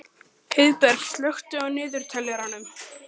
Heiðberg, slökktu á niðurteljaranum.